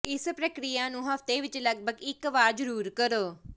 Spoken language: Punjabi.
ਇਸ ਪ੍ਰਕਿਰਿਆ ਨੂੰ ਹਫ਼ਤੇ ਵਿਚ ਲਗਪਗ ਇਕ ਵਾਰ ਜ਼ਰੂਰ ਕਰੋ